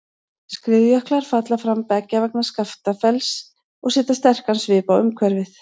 Skriðjöklar falla fram beggja vegna Skaftafells og setja sterkan svip á umhverfið.